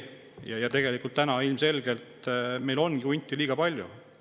Täna on meil hunte ilmselgelt liiga palju.